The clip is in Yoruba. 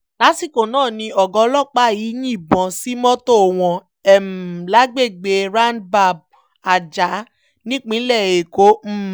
lásìkò náà ni ọ̀gá ọlọ́pàá yìí yìnbọn sí mọ́tò wọn um lágbègbè roundbab ajah nípínlẹ̀ èkó um